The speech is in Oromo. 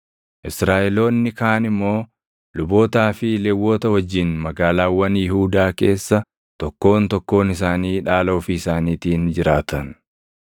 Israaʼeloonni kaan immoo lubootaa fi Lewwota wajjin magaalaawwan Yihuudaa keessa tokkoon tokkoon isaanii dhaala ofii isaaniitiin jiraatan.